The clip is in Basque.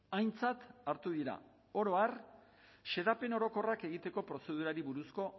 aintzat hartu dira oro har xedapen orokorrak egiteko prozedurari buruzko